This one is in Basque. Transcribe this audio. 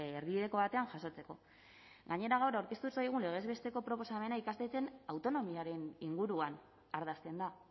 erdibideko batean jasotzeko gainera gaur aurkeztu zaigun legez besteko proposamena ikastetxeen autonomiaren inguruan ardazten da